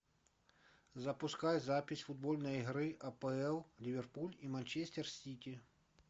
запускай запись футбольной игры апл ливерпуль и манчестер сити